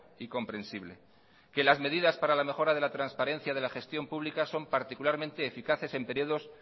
y comprensible que las medidas para la mejora de la transparencia de la gestión pública son particularmente eficaces en periodos